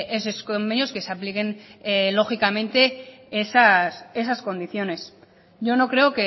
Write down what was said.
en sus convenios que se apliquen lógicamente esas condiciones yo no creo